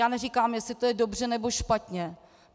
Já neříkám, jestli to je dobře, nebo špatně.